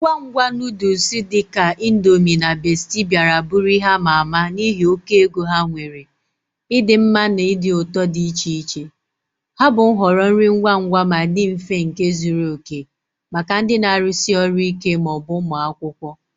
Ngwa ngwa noodles dị ka Indomie na Bestie bịara bụrụ ihe ama ama n'ihi oke ego ha nwere, ịdị mma na ụdị ụtọ dị iche iche. Ha bụ nhọrọ nri ngwa ngwa ma dị mfe nke zuru oke maka ndị na-arụsi ọrụ ike ma ọ bụ ụmụ akwụkwọ.